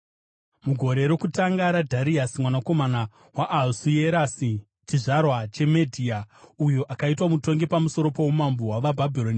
Mugore rokutanga raDhariasi mwanakomana waAhasuerasi (chizvarwa cheMedhia), uyo akaitwa mutongi pamusoro poumambo hwavaBhabhironi,